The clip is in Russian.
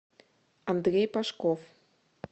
андрей пашков